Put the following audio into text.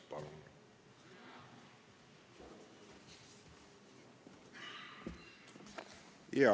Palun!